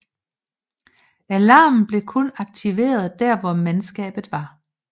Alarmen blev kun aktiveret der hvor mandskabet var